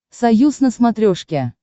союз на смотрешке